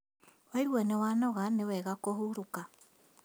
Waigua nĩ wanoga nĩ wega kũhurũka